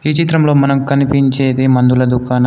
ఈ చిత్రంలో మనం కనిపించేది మందుల దుకాణం.